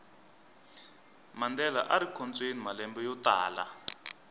mandela arikhotsweni malembe yotala